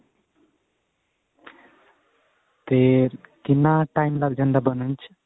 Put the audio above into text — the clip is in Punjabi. ਤੇ ਕਿੰਨਾ time ਲੱਗ ਜਾਂਦਾ ਬਣਨ ਚ